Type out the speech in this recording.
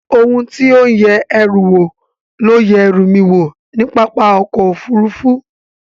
Ohun tí ó ń yẹ ẹrù wò ló yẹ ẹrú mi wò ní pápá ọkọ̀ Òfurufú